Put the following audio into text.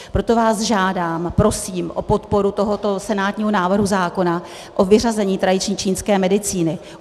Proto vás žádám, prosím o podporu tohoto senátního návrhu zákona, o vyřazení tradiční čínské medicíny.